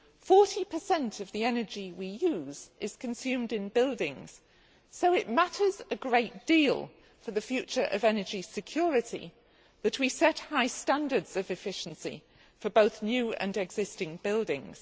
Forty per cent of the energy we use is consumed in buildings, so it matters a great deal for the future of energy security that we set high standards of efficiency for both new and existing buildings.